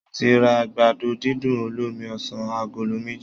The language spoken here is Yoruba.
Mo ti ra àgbàdo dídùn olómi ọsàn agolo méjì